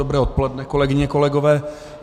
Dobré odpoledne, kolegyně, kolegové.